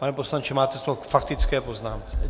Pane poslanče, máte slovo k faktické poznámce.